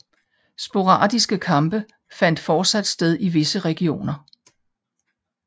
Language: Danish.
Sporadiske kampe fandt fortsat sted i visse regioner